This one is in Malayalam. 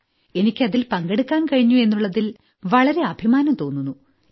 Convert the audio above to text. എനിയ്ക്ക് അതിൽപങ്കെടുക്കാൻ കഴിഞ്ഞു എന്നുള്ളതിൽ എനിയ്ക്ക് വളരെ അഭിമാനം തോന്നുന്നു